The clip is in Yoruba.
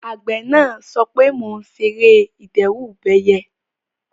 Àgbẹ̀ náà sọ pé "mo ṣe ère ìdẹ́rùbẹyẹ"